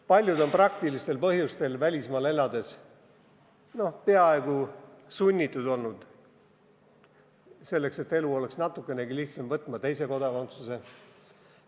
Paljud on praktilistel põhjustel välismaal elades olnud peaaegu sunnitud, selleks et elu oleks natukenegi lihtsam, võtma teise kodakondsuse.